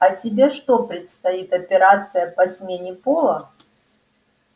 а тебе что предстоит операция по смене пола